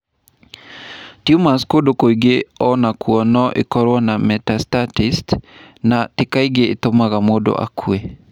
Tumors kũndũ kũngĩ o nakuo no ikorũo na metastasis, no ti kaingĩ itũmaga mũndũ akue.